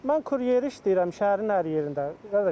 Mən kuryer işləyirəm şəhərin hər yerində.